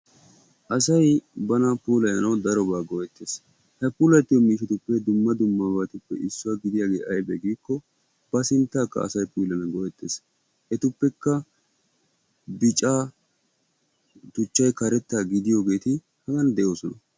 asay bana puulayanaw daroba go'ettees; he puulatiyoo miishshatuppe dumma dummabatuppe issuwa gidiyaagee yabbe giiko ba sinttaka asay puulayanaw go'ettees; etuppekka bicca tuchchay karetta gidiyogeeti hagan de'oosona.